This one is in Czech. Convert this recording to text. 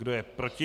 Kdo je proti?